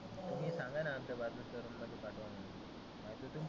तुम्ही सांगाना आमच्या बाजुच्या रुम मध्ये पाठवा म्हणुन. आता तुम्ही